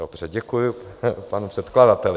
Dobře, děkuji panu předkladateli.